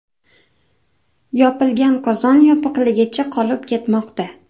Yopilgan qozon yopiqligicha qolib ketmoqda”.